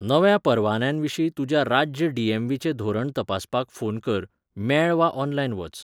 नव्या परवान्यांविशीं तुज्या राज्य डी.एम.व्ही.चें धोरण तपासपाक फोन कर, मेळ वा ऑनलायन वच.